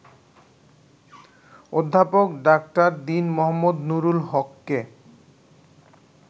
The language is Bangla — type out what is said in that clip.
অধ্যাপক ডা. দীন মো. নুরুল হককে